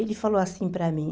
Ele falou assim para mim,